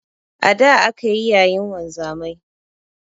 A da akayi yayin wanzamai